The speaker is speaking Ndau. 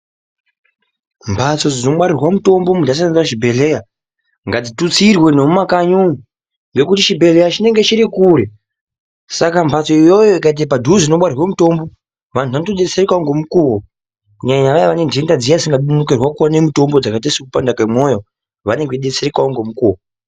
Mbatso dzinongwarirwa mutombo muntu ashandisa chibhedhleyaa, ngatitutsirwee nemumakanyi umu, ngekuti chibhedhleyaa chinenge chiri kure saka mbatso iyoyo ikaita padhuze inongwarirwe mutombo, vantu vanotodetsereka ngemukuwo kunyanya vaya vane ndenda dzisingadi kunonokerwe kuwone mutombo, dzakati sokuti kupanda kwemoyo, vanenge vachidetserekavo ngemukuwo.